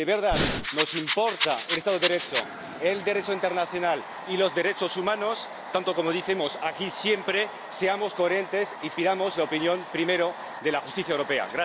Si de verdad nos importan el Estado de Derecho, el Derecho internacional y los derechos humanos tanto como decimos aquí siempre, seamos coherentes y pidamos la opinión primero de la justicia europea.